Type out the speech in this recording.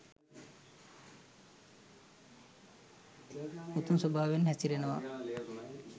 උමතු ස්වභාවයෙන් හැසිරෙනවා